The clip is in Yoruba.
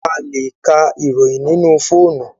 alè k'a iroyin nínú fóònù